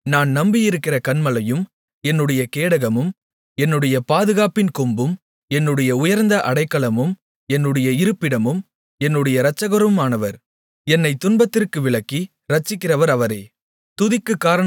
தேவன் நான் நம்பியிருக்கிற கன்மலையும் என்னுடைய கேடகமும் என்னுடைய பாதுகாப்பின் கொம்பும் என்னுடைய உயர்ந்த அடைக்கலமும் என்னுடைய இருப்பிடமும் என்னுடைய இரட்சகருமானவர் என்னைத் துன்பத்திற்கு விலக்கி இரட்சிக்கிறவர் அவரே